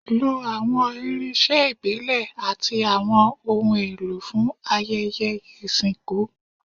Lo awọn irinṣẹ ibile ati awọn ohun elo fun ayẹyẹ isinku